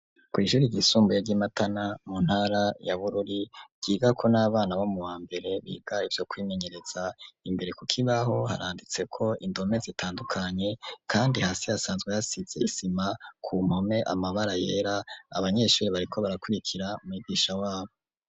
ku ijuri igisumbuye ry'imatana mu ntara ya bururi byiga ko n'abana bo mu wa mbere biga ibyo kwimenyereza imbere ku kibaho haranditse ko indome zitandukanye kandi hasi hasanzwe yasidze isima ku mpome amabara yera abanyeshuri bariko barakurikira migisha wabo